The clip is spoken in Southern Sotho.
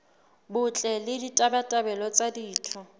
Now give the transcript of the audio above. botle le ditabatabelo tsa ditho